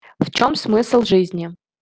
в чём смысл жизни